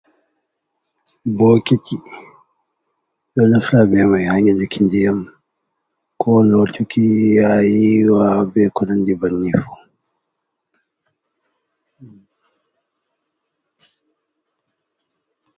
Bokiti, ɗon naftira bemai ha nyeɗuki diyam, ko lotuki yaha yiiwa beko nanndi ban ni mai.